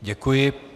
Děkuji.